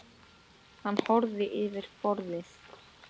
Hann horfði yfir borðið.